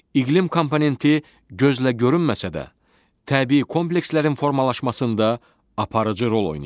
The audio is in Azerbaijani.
İqlim komponenti gözlə görünməsə də, təbii komplekslərin formalaşmasında aparıcı rol oynayır.